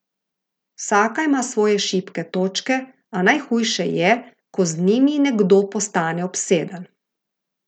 Vsaka ima svoje šibke točke, a najhujše je, ko z njimi nekdo postane obseden.